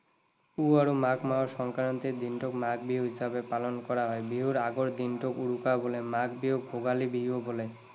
পুহ আৰু মাঘ মাহৰ সংক্ৰান্তিৰ দিনটোক মাঘ বিহু হিচাপে পালন কৰা হয়। বিহুৰ আগৰ দিনটোক উৰুকা বোলে। মাঘ বিহুক ভোগালী বিহুও বোলে।